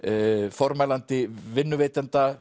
formælandi vinnuveitenda